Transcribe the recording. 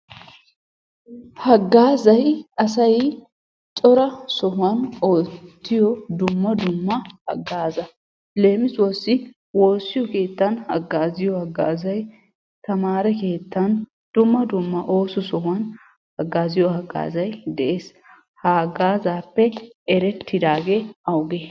Haggaazay asay cora sohuwan oottiyo dumma dumma haggaaza. Leemisuwassi woossiyo keettan haggaaziyo haggaazay, tamaare keettan, dumma dumma ooso sohuwan haggaaziyo haggaazay de'es. Ha haggaazaappe erettidaagee awuge?